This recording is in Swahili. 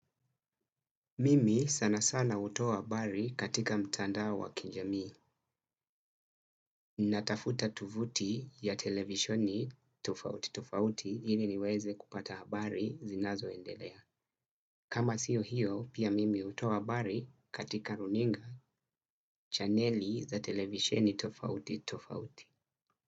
Mimi sana sana hutoa habari katika mtandao wa kijamii. Natafuta tovuti ya televisioni tofauti tofauti hili niweze kupata habari zinazoendelea. Kama sio hiyo pia mimi hutoa habari katika runinga chaneli za televisheni tofauti tofauti.